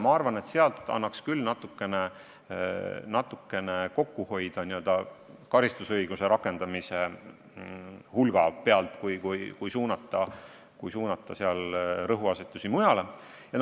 Ma arvan, et karistusõiguse rakendamise hulga pealt annaks küll kokku hoida, rõhuasetusi tuleks mujale suunata.